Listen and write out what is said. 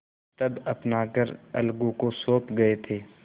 तब अपना घर अलगू को सौंप गये थे